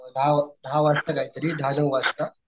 अ दहा दहा वाजता काय तरी दहा नऊ वाजता,